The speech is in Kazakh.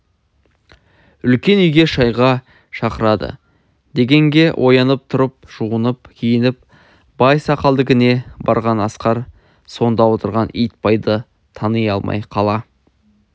үлкен үйге шайға шақырады дегенге оянып тұрып жуынып киініп байсақалдікіне барған асқар сонда отырған итбайды тани алмай қала